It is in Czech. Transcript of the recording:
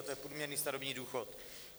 A to je průměrný starobní důchod.